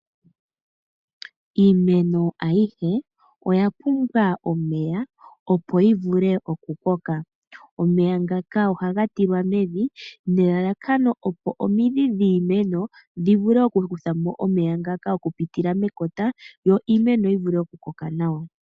Iimeno ayihe oya pumbwa omeya opo yi vule okukoka. Omeya ngaka ohaga tilwa mevi nelalakano opo omidhi dhiimeno dhi vule oku kuthamo omeya ngaka okupitila mekota yo iimeno yi vule okukoka nawa.